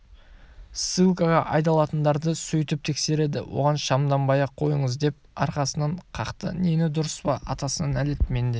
ссылкаға айдалатындарды сөйтіп тексереді оған шамданбай-ақ қойыңыз деп арқасынан қақты дені дұрыс па атасына нәлет менде